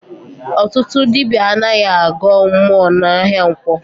Ọtụtụ ndị dibịa anaghị agọ mmụọ n'ahịa nkwọ